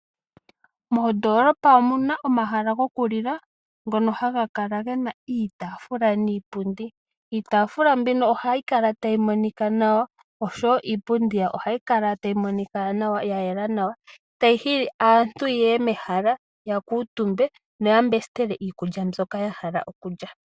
Mondoolopa omuna omahala goku lila, ngono haga kala gena iitaafula niipundi. Iitaafula mbino ohayi kala tayi monika nawa osho wo iipundi ohayi kala tayi monika nawa ya yela nawa mbyono hayi kala tayi hili aantu ye ye metala noya mbestele iikulya mbyono ya hala oku lya.